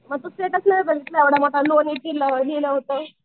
मग तू स्टेटस नाही बघितलं एवढा मोठा लिहिलं होतं.